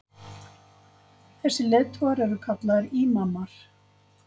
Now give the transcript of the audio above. Þessir leiðtogar eru kallaðir ímamar.